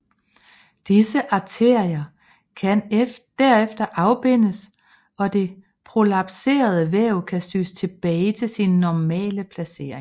Disse arterier kan derefter afbindes og det prolapserede væv kan sys tilbage til sin normale placering